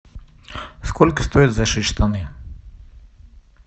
сколько стоит зашить штаны